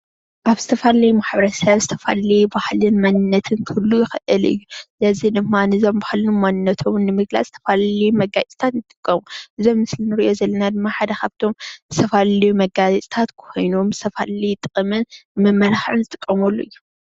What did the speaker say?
ኣብ ዝተፈላለዩ ማሕበረሰብ ዝተፈላለዩ ባህልን መንነትን ክህሉ ይክእል እዩ፡፡ እዚ ድማ ነዞም ባህልን መንነቶምን ንምግላፅ ዝተፈላለዩ መጋየፅታት ንጥቀም፡፡ እዚ ኣብ ምስሊ እንሪኦ ዘለና ድማ ሓደ ካብእቶም ዝፈላለዩ መጋየፅተታት ኮይኖም ዝፈላለየ ጥቅምን መመላክዕን ዝጠቅሙ እዮም፡፡